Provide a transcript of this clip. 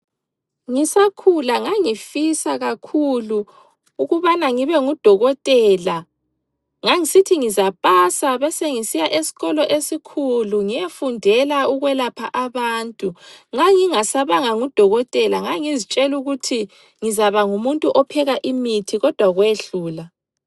Ngisakhula ngangifisa kakhulu ukubana ngibe ngudokotela. Ngangisithi ngizapasa besengisiya esikolo esikhulu ngiyefundela ukwelapha abantu. Nxa ngingasabanga ngudokotela ngangizitshela ukuthi ngizaba ngumuntu opheka imithi kodwa kwehlula.